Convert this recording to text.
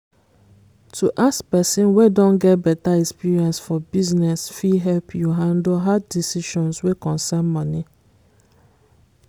to ask person wey don get better experience for business fit help you handle hard decisions wey concern money